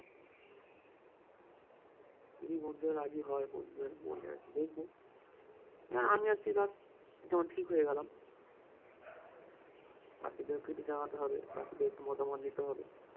যদি বন্ধুরা রাজি হয় phone টোন করলে দেখবো আমি আর তুই ধর যেমন ঠিক হয়ে গেলাম বাকিদেরকেও তো জানাতে হবে বাকিদের মতামত নিতে হবে